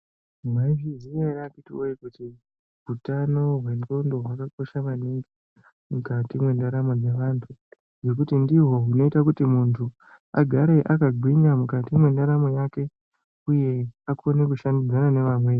Mwaizviziya ere akhiti wee kuti uthano hwendxondo hwakakosha maningi mukati mwendaramo dzevanthu ngekuti ndihwo hunoite kuti munthu agare akagwinya mukati mwendaramo yake uye kuti akone kushandidzana nevamweni.